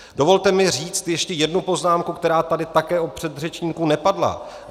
Dovolte mi říct ještě jednu poznámku, která tady také od předřečníků nepadla.